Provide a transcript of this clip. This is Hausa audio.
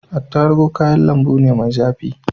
Attarugu kayan lambu ne mai zafi.